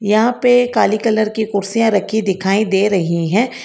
यहां पे काले कलर की कुर्सियां रखी दिखाई दे रही हैं।